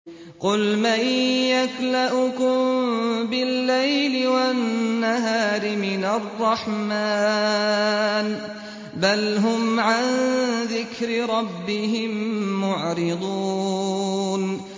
قُلْ مَن يَكْلَؤُكُم بِاللَّيْلِ وَالنَّهَارِ مِنَ الرَّحْمَٰنِ ۗ بَلْ هُمْ عَن ذِكْرِ رَبِّهِم مُّعْرِضُونَ